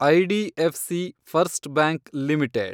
IDFC first bank limited